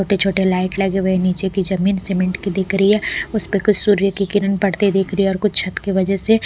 छोटे-छोटे लाइट लगे हुए नीचे की जमीन सीमेंट की दिख रही है उस पे कुछ सूर्य की किरण पड़ते दिख रही है और कुछ छत के वजह से --